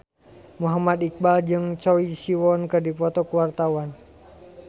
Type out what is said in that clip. Muhammad Iqbal jeung Choi Siwon keur dipoto ku wartawan